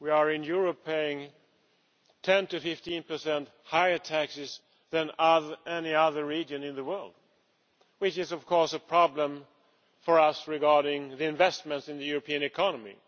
In Europe we pay 10 to 15 higher taxes than any other region in the world, which is of course a problem for us regarding investment in the European economy.